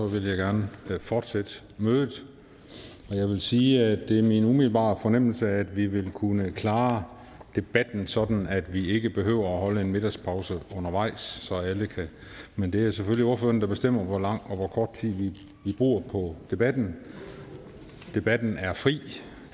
vil jeg gerne fortsætte mødet jeg vil sige at det er min umiddelbare fornemmelse at vi vil kunne klare debatten sådan at vi ikke behøver at holde en middagspause undervejs men det er selvfølgelig ordførerne der bestemmer hvor lang eller hvor kort tid vi bruger på debatten debatten er fri